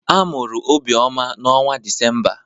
A mụrụ Obioma n'ọnwa Disemba.